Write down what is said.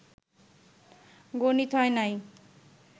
গণিত হয় নাই